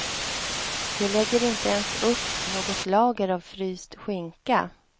De lägger inte ens upp något lager av fryst skinka.